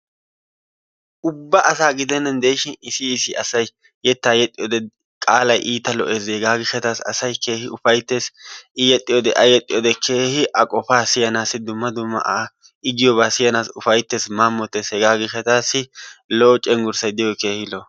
Ubba asaa gidennan diishin issi issi asay yettaa yexxiyoode qaalay iita lo"ees hegaa giishshataasi asay keehi ufayttees. i yexxiyoode a yexxiyoode keehi a qofaa siyyaanasi dumma dumma giyoobaa siyanaasi ufayttees. mamottees. hegaa giishshataassi lo"o cenggurssay diyoogee keehi lo"o.